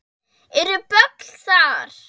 Eru böll þar?